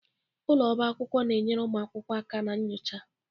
Ụlọ ọba akwụkwọ na-enyere ụmụ akwụkwọ aka na nyocha.